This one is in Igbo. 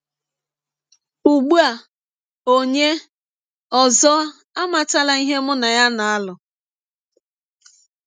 Ugbu a, ọnye ọzọ amatala ihe mụ na ya na - alụ.